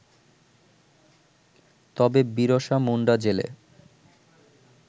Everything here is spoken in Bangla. তবে বীরসা মুন্ডা জেলে